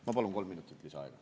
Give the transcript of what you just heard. Ma palun kolm minutit lisaaega.